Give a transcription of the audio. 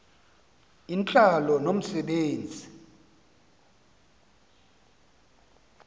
intlalo nomse benzi